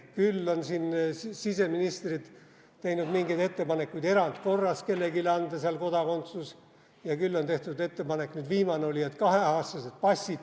Küll on siin siseministrid teinud mingeid ettepanekuid erandkorras seal kellelegi kodakondsus anda ja küll on tehtud ettepanek, nüüd viimane oli, et kaheaastased passid.